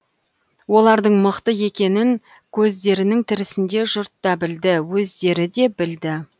олардың мықты екенін көздерінің тірісінде жұрт та білді өздері де білді